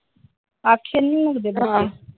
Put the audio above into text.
ਆਖੇ ਨੀ ਲੱਗਦੇ ਬੱਚੇ ।